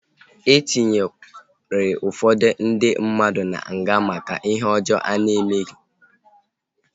E tinyere ụfọdụ ndị mmadụ na nga maka ihe ọjọọ ha na-emeghị